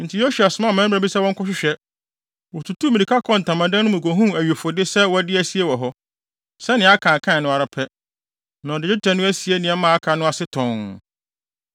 Enti Yosua somaa mmarima bi sɛ wɔnkɔhwehwɛ. Wotutuu mmirika kɔɔ ntamadan no mu kohuu awifode no sɛ wɔde asie wɔ hɔ, sɛnea Akan kae no ara pɛ, na ɔde dwetɛ no asie nneɛma a aka no ase tɔnn.